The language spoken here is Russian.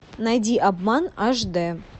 найди обман аш д